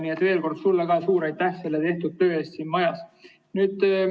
Nii et veel kord sulle ka suur aitäh selle tehtud töö eest!